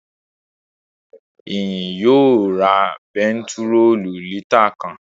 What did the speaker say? Ìyìn yóò ra bentiróòlù lítà kan